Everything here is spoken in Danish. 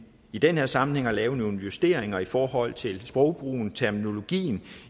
i den her sammenhæng at lave nogle justeringer i forhold til sprogbrugen terminologien